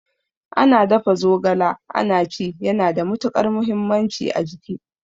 Ana dafa zogala ana ci yana da matukar muhimmanci a jiki